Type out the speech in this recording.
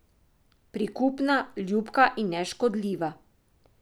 Prikupna, ljubka in neškodljiva.